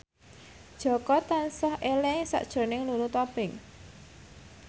Jaka tansah eling sakjroning Lulu Tobing